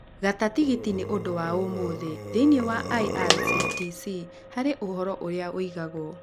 gata tigiti nĩ ũndũ wa ũmũthĩ thĩinĩ wa irctc harĩ ũhoro ũrĩa ũigagwo